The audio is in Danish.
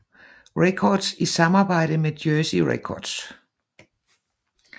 Records i samarbejde med Jersey Records